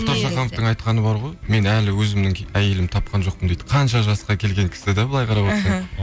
мұхтар шахановтың айтқаны бар ғой мен әлі өзімнің әйелімді тапқан жоқпын дейді қанша жасқа келген кісі де былай қарап отырсаң